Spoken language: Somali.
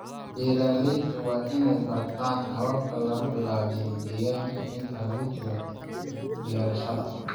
Beeraleyda waa in ay bartaan habab lagu ilaaliyo deegaanka inta lagu jiro beerashada.